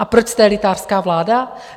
A proč jste elitářská vláda?